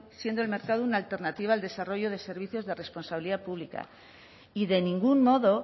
siendo el mercado una alternativa al desarrollo de servicios de responsabilidad pública y de ningún modo